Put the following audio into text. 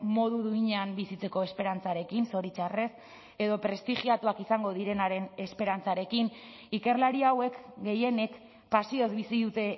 modu duinean bizitzeko esperantzarekin zoritxarrez edo prestigiatuak izango direnaren esperantzarekin ikerlari hauek gehienek pasioz bizi dute